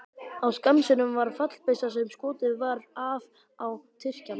Á Skansinum var fallbyssa sem skotið var af á Tyrkjann.